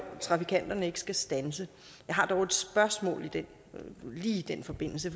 trafikanterne ikke skal standse jeg har dog et spørgsmål lige i den forbindelse